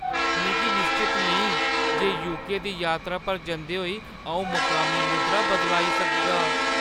मिगी निश्चत नेईं जे यूके दी यात्रा पर जंदे होई अऊं मकामी मुद्रा बदलाई सकगा।